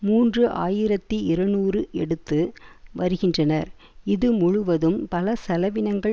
மூன்று ஆயிரத்தி இருநூறு எடுத்து வருகின்றனர் இது முழுவதும் பல செலவினங்கள்